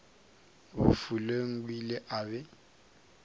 bofelong o ile a be